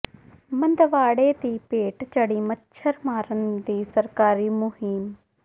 ਮੰਦਵਾੜੇ ਦੀ ਭੇਟ ਚੜ੍ਹੀ ਮੱਛਰ ਮਾਰਨ ਦੀ ਸਰਕਾਰੀ ਮੁਹਿੰਮ